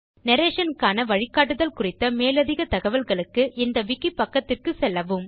narrationக்கான வழிக்காட்டுதல் குறித்த மேலதிகத் தகவல்களுக்கு இந்த விக்கி பக்கத்திற்குச்செல்லவும்